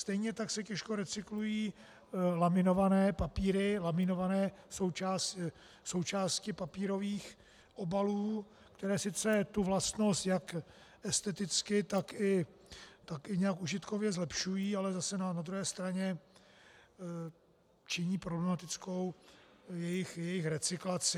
Stejně tak se těžko recyklují laminované papíry, laminované součásti papírových obalů, které sice tu vlastnost jak esteticky, tak i nějak užitkově zlepšují, ale zase na druhé straně činí problematickou jejich recyklaci.